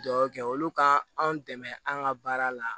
Dugawu kɛ olu ka anw dɛmɛ an ka baara la